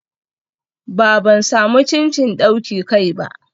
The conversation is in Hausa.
Ba, ban samu cincin dauki kai ba.